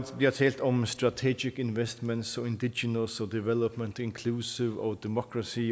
bliver talt om strategic investments indiginals og development inclusive og democracy